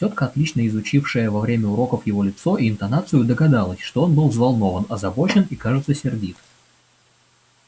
тётка отлично изучившая во время уроков его лицо и интонацию догадалась что он был взволнован озабочен и кажется сердит